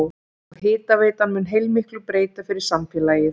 Og hitaveitan mun heilmiklu breyta fyrir samfélagið?